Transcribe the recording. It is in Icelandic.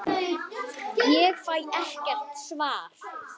Ég fæ ekkert svar.